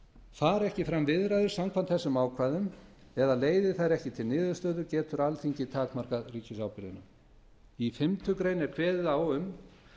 fari ekki fram viðræður samkvæmt þessum ákvæðum eða leiði þær ekki til niðurstöðu getur alþingi takmarkað ríkisábyrgðina í fimmtu grein er kveðið á um